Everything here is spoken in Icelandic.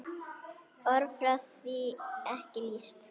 Orð fá því ekki lýst.